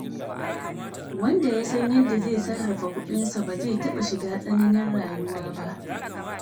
Wanda ya san yadda zai sarrafa kuɗinsa, ba zai taɓa shiga tsananin rayuwa ba.